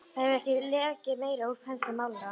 Það hefur ekki lekið meira úr pensli málarans.